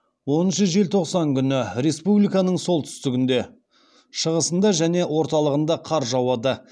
оныншы желтоқсан күні республиканың солтүстігінде шығысында және орталығында қар жауады